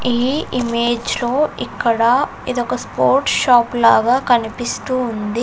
ఈ ఇమేజ్ లో ఇక్కడ ఇదొక స్పోర్ట్స్ షాపు లాగా కనిపిస్తూ వుంది.